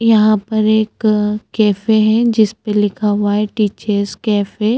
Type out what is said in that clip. यहाँ पर एक कैफ़े है जिसपे लिखा हुआ है टी चेस कैफ़े --